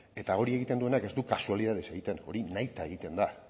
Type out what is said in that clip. eta hori egiten duenak ez du kasualitatez egiten hori nahita egiten da